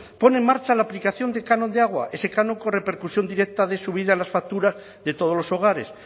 pone en marcha la aplicación del canon de agua ese canon con repercusión directa de subida en las facturas de todos los hogares